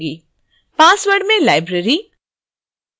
password में library